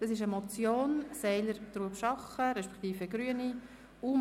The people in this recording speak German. Das ist eine Motion von Grossrat Seiler, Trubschachen, respektive der Grünen: